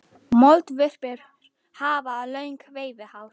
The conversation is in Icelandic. Moldvörpur hafa löng veiðihár.